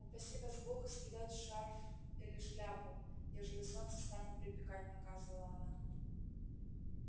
упаси вас бог скидать шарф или шляпу ежели солнце станет припекать наказывала она